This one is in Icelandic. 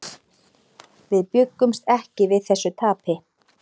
Við bjuggumst ekki við þessu tapi.